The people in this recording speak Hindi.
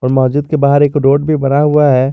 मस्जिद के बाहर एक रोड भी बना हुआ है।